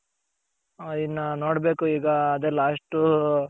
ಹ ಇನ್ನ ನೋಡ್ಬೇಕು ಈಗ ಅದೆ last